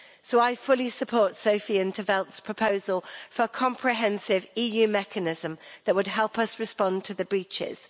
So I fully support Sophia in 't Veld's proposal for a comprehensive EU mechanism that would help us respond to the breaches.